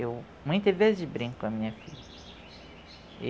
Eu muitas vezes brinco com a minha filha.